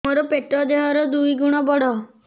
ମୋର ପେଟ ଦେହ ର ଦୁଇ ଗୁଣ ବଡ